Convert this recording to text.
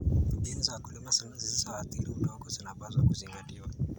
Mbinu za kulima zisizoathiri udongo zinapaswa kuzingatiwa.